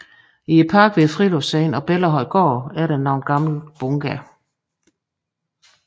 I parken ved Friluftsscenen og Bellahøjgård er der nogle gamle bunkere